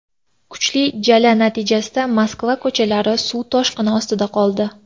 Kuchli jala natijasida Moskva ko‘chalari suv toshqini ostida qoldi .